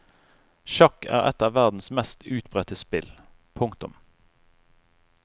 Sjakk er et av verdens mest utbredte spill. punktum